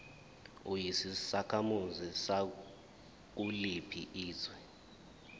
uyisakhamuzi sakuliphi izwe